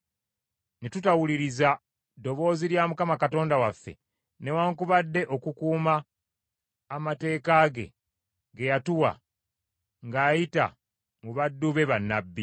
ne tutawuliriza ddoboozi lya Mukama Katonda waffe, newaakubadde okukuuma amateeka ge, ge yatuwa ng’ayita mu baddu be bannabbi.